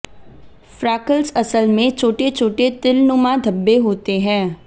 freckles असल में छोटे छोटे तिल नुमा धब्बे होते हैं